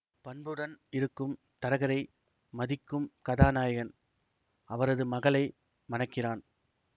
பண்புடன் இருக்கும் தரகரை மதிக்கும் கதாநாயகன் அவரது மகளை மணக்கிறான்